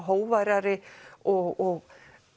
hógværari og